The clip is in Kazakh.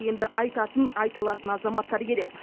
енді айтатын айта алатын азаматтар керек